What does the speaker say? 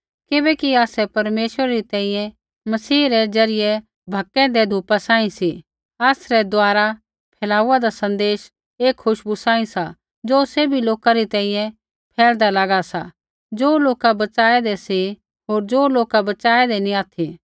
किबैकि आसै परमेश्वरै री तैंईंयैं मसीह रै ज़रियै भकेईदै धूपा सांही सी आसरै द्वारा फैलाऊदा सन्देश एक खुशबू सांही सा ज़ो सैभी लोका री तैंईंयैं फैलदा लागा सा ज़ो लोका बच़ाऐंदै सी होर ज़ो लोका बच़ाऐंदै नैंई ऑथि